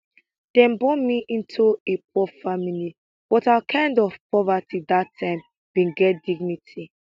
dem born me into a poor family but our kind of poverty dat time bin get dignity